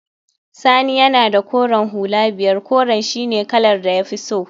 Sani yana da koren hula biyar, koren shine kalar da ya fi so